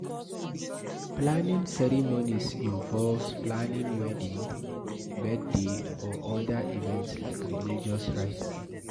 Planning ceremonies involve planning wedding, birthday or oda events like religious rites